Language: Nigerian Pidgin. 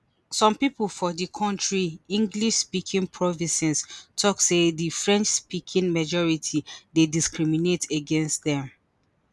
some pipo for di kontri englishspeaking provinces tok say di frenchspeaking majority dey discriminate against dem